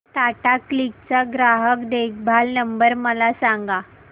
Tata Cliq चा ग्राहक देखभाल नंबर मला सांगा